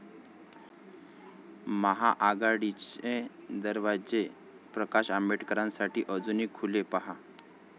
महाआघाडीचे दरवाजे प्रकाश आंबेडकरांसाठी अजूनही खुले? पाहा